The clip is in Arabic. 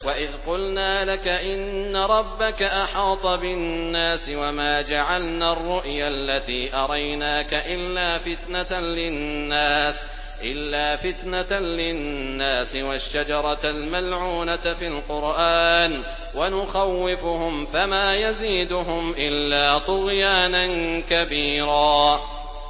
وَإِذْ قُلْنَا لَكَ إِنَّ رَبَّكَ أَحَاطَ بِالنَّاسِ ۚ وَمَا جَعَلْنَا الرُّؤْيَا الَّتِي أَرَيْنَاكَ إِلَّا فِتْنَةً لِّلنَّاسِ وَالشَّجَرَةَ الْمَلْعُونَةَ فِي الْقُرْآنِ ۚ وَنُخَوِّفُهُمْ فَمَا يَزِيدُهُمْ إِلَّا طُغْيَانًا كَبِيرًا